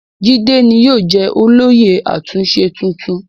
Jídé ni yóò jẹ́ olóyè àtúnṣe tuntun.